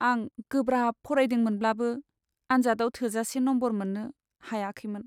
आं गोब्राब फरायदोंमोनब्लाबो, आनजादआव थोजासे मोजां नम्बर मोननो हायाखैमोन।